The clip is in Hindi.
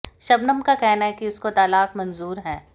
शबनम का कहना है कि उसको तलाक मंजूर है